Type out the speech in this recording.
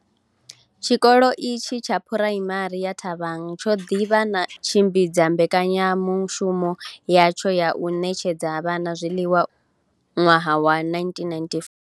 Tshikolo itshi tsha Phuraimari ya Thabang tsho ḓi vha tshi tshi khou tshimbidza mbekanyamu shumo yatsho ya u ṋetshedza vhana zwiḽiwa u tou bva nga ṅwaha wa 1994.